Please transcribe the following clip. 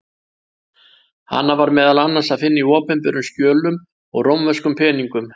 Hana var meðal annars að finna á opinberum skjölum og rómverskum peningum.